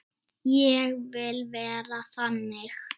Ég vil vera þannig.